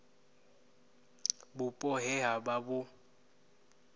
vhupo he ha vha vhu